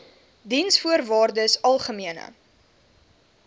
diensvoorwaardesalgemene